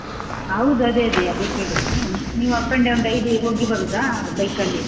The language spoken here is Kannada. ಹೌದು ಅದೇ ಅದೇ ಕೇಳಿದ್ದು, ನೀವ್ up and down daily ಹೋಗಿ ಬರೂದ bike ಅಲ್ಲಿ.